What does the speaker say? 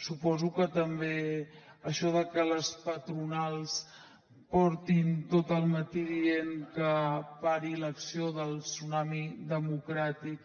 suposo que també això de que les patronals portin tot el matí dient que pari l’acció del tsunami democràtic